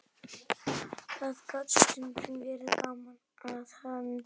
Það gat stundum verið gaman að henni.